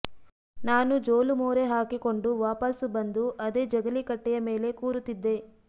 ನಾನು ಜೋಲು ಮೋರೆ ಹಾಕಿಕೊಂಡು ವಾಪಸ್ಸು ಬಂದು ಅದೇ ಜಗಲೀಕಟ್ಟೆೆಯ ಮೇಲೆ ಕೂರುತ್ತಿಿದ್ದೆ